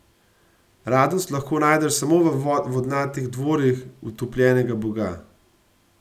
Radost lahko najdeš samo v vodnatih dvorih Utopljenega boga.